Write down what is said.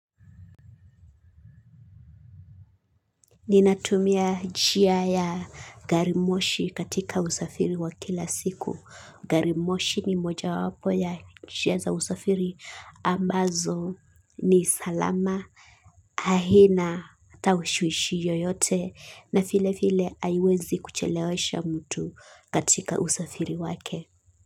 Ninatumia jia ya garimoshi katika usafiri wa kila siku. Garimoshi ni moja wapo ya jia za usafiri ambazo ni salama. Ahina ata ushwishi yoyote na file file aiwezi kuchelewesha mtu katika usafiri wake.